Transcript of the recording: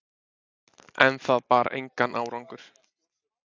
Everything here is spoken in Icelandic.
En það bar engan árangur.